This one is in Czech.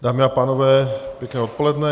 Dámy a pánové, pěkné odpoledne.